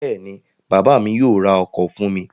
Bẹ́ẹ̀ ni, bàbá mi yóò ra ọkọ̀ fún mi.